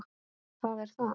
Það er það!